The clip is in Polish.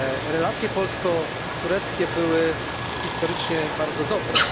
Relacje polsko tureckie były historycznie bardzo dobre.